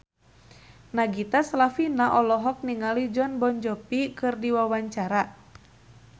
Nagita Slavina olohok ningali Jon Bon Jovi keur diwawancara